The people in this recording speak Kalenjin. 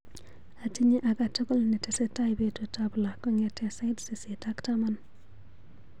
Atinye akatukul netesetai betutap loo kong'ete sait sisit ak taman .